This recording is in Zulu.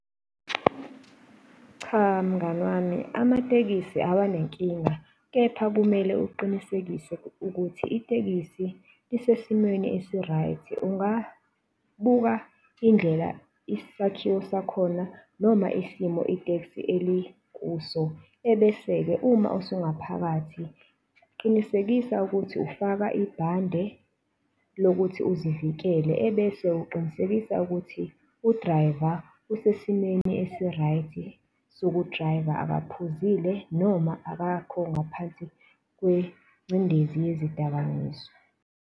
Cha, mngani wami amatekisi awanankinga, kepha kumele uqinisekise ukuthi itekisi isesimweni esi-right ungabuka indlela isakhiwo sakhona noma isimo itekisi elikuso, ebese-ke uma usungaphakathi, qinisekisa ukuthi ufaka ibhande lokuthi uzivikele ebese uqinisekisa ukuthi u-driver usesimweni esi-right sokudriver akaphuzile noma akakho ngaphansi kwengcindezi yezidakamizwa.